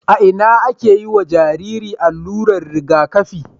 a Ina ake yiwa Jariri allurar Riga kafi